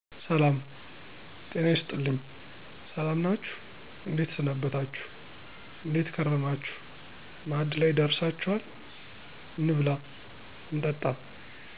ሰላም "ጤና ይስጥልኝ" ሰላም ናችሁ እንዴት ሰነበታችሁ : እንዴት ከረማችሁ ማዕድ ላይ ደርሳችኋል እንብላ እንጠጣ